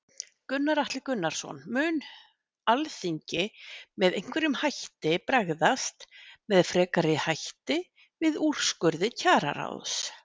Gunnar Atli Gunnarsson: Mun Alþingi með einhverjum hætti bregðast, með frekari hætti við úrskurði Kjararáðs?